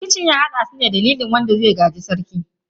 Rikicin ya haddasu ne a dalilin zabar wanda zai gaji sarki.